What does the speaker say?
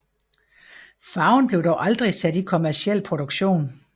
Farven blev dog aldrig sat i kommerciel produktion